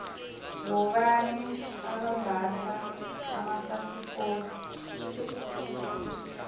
bobani abambatha amafasikodu